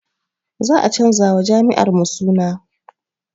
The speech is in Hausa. Za a canza wa jami'ar mu suna